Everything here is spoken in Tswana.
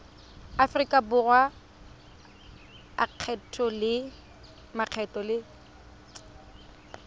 aforika borwa a makgetho le